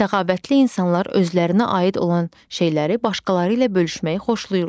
Səxavətli insanlar özlərinə aid olan şeyləri başqaları ilə bölüşməyi xoşlayırlar.